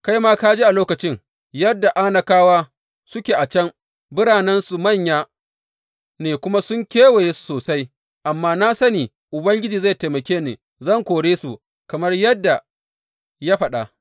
Kai ma ka ji a lokacin, yadda Anakawa suke a can, biranensu manya ne kuma sun kewaye su sosai, amma na sani Ubangiji zai taimake ni, zan kore su kamar yadda ya faɗa.